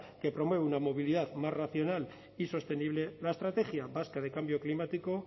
que promueve una movilidad más racional y sostenible la estrategia vasca de cambio climático